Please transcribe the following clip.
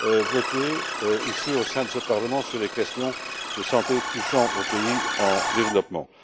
votée ici au sein de ce Parlement sur les questions de santé touchant aux pays en développement.